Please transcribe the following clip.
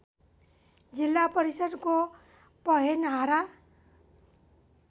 जिल्ला परिषद्को पहेनहारा